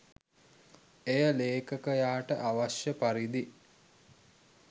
එය ලේඛකයාට අවශ්‍ය පරිදි